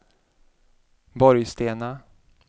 Borgstena